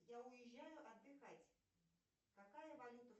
я уезжаю отдыхать какая валюта